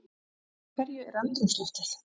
Úr hverju er andrúmsloftið?